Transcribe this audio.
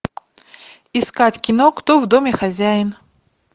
искать кино кто в доме хозяин